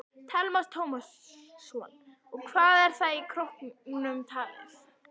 Telma Tómasson: Og hvað er það í krónum talið?